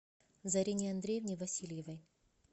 зарине андреевне васильевой